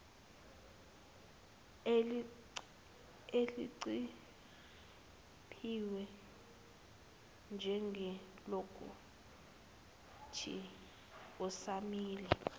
eliqophiwe njengelokuthi usamele